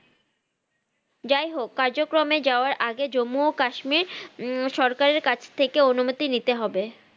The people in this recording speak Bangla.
যাই হক কাজক্রমে যাওয়ার আগে জম্মু ও কাশ্মীর উম সরকার এর কাছে থেকে অনুমতি নিতে হবে